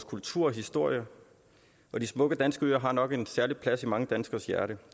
kultur og historie og de smukke danske øer har nok en særlig plads i mange danskeres hjerter